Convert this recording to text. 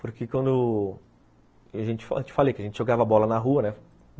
Porque quando... Eu te falei que a gente jogava bola na rua, né?